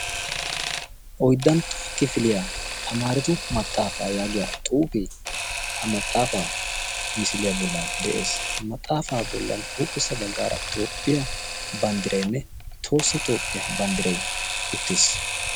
oiddantta kifiliyaa tamaaretu maxaafaa yaagiya xuufi ha maxaafaa misiliyaa bollan de7ees maxaafaa bollan huuphessa baggaara itoopphiyaa banddireenne toossa toopphiyaa banddiree uttiis